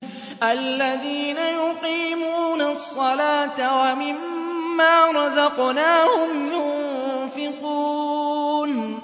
الَّذِينَ يُقِيمُونَ الصَّلَاةَ وَمِمَّا رَزَقْنَاهُمْ يُنفِقُونَ